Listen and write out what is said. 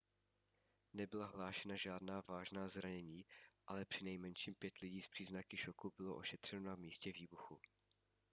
nebyla hlášena žádná vážná zranění ale přinejmenším pět lidí s příznaky šoku bylo ošetřeno na místě výbuchu